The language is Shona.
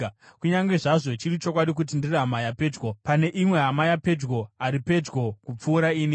Kunyange zvazvo chiri chokwadi kuti ndiri hama yapedyo, pane imwe hama yapedyo ari pedyo kupfuura ini.